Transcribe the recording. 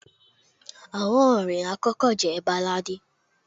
àwọn orin akọkọ je balladi